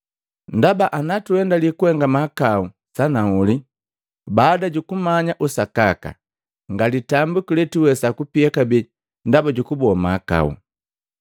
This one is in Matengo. Ndaba, ana tuendali kuhenga mahakau sanahuli baada jukumanya usakaka, nga litambiku letuwesa kupia kabee ndaba ju kuboa mahakau.